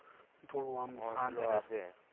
થોડું આમ શાંત રે